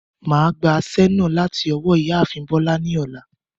Màá gba aṣẹ́ náà láti ọwọ́ ìyáàfin Bọ́lá ni ọ̀la.